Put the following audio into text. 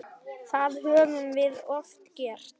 Það höfum við oft gert.